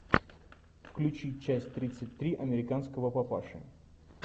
включи часть тридцать три американского папаши